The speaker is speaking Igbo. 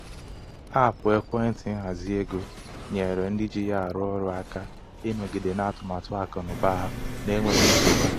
ọtụtụ ndị ọrụ gbalịrị ịkwụ ụgwọ ọnọdụ ahụike ha site n'ụgwọ ọnwa bu oke ibu.